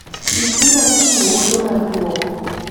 Ikri mar chiwo ote mar duoko .